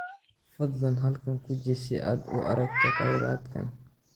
Fadlan halkan guji si aad u aragto kheyraadkan.